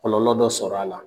Kɔnɔnlɔ dɔ sɔrɔla a la